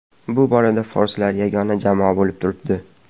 Bu borada forslar yagona jamoa bo‘lib turibdi.